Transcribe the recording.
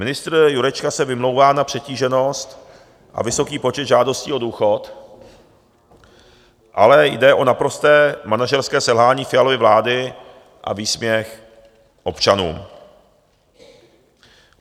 Ministr Jurečka se vymlouvá na přetíženost a vysoký počet žádostí o důchod, ale jde o naprosté manažerské selhání Fialovy vlády a výsměch občanům.